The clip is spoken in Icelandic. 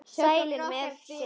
Sælir með sitt.